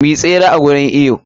Mu yi tsere a gurin iwo.